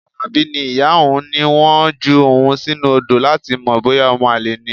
Alabi ní ìyá òun ní wọ́n ju òun sínú odo láti mọ̀ bóyá omo-ale ni.